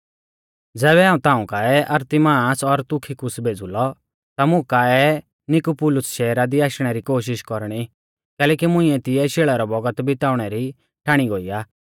ज़ैबै हाऊं ताऊं काऐ अरतिमास और तुखिकुस भेज़ूलौ ता मुं काऐ निकुपुलुस शैहरा दी आशणै री कोशिष कौरणी कैलैकि मुंइऐ तिऐ शेल़ै रौ बौगत बिताउणै री ठाणी गोई आ